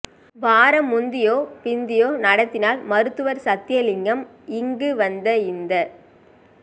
வாரம் முந்தியோ பிந்தியோ நடத்தினால் மருததுவர் சத்தியலிங்கம் இங்கு வந்து இந்த